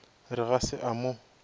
re ga se a mo